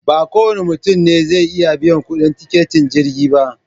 Ba kowane mutum ne zai iya biyan kuɗin tiketin jirgi ba